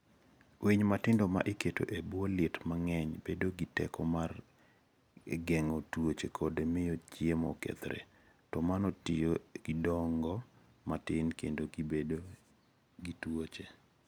Winy matindo ma iketo e bwo liet mang'eny bedo gi teko mar geng'o tuoche kod miyo chiemo okethre, to mano miyo gidongo matin kendo gibedo gi tuoche.